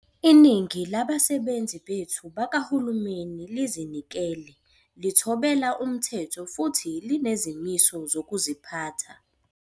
Iningi labasebenzi bethu bakahulumeni lizinikele, lithobela umthetho futhi linezimiso zokuziphatha.